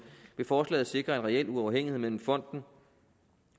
vil forslaget sikre en reel uafhængighed mellem fonden